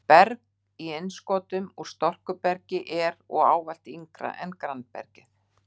Berg í innskotum úr storkubergi er og ávallt yngra en grannbergið.